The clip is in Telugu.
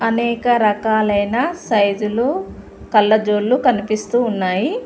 అనేక రకాలైన సైజులు కళ్ళజోళ్ళు కనిపిస్తూ ఉన్నాయి.